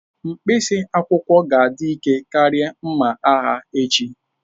Mkpịsị akwụkwọ ga-adị ike karịa mma agha echi.